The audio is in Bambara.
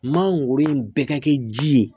Mangoro in bɛɛ ka kɛ ji ye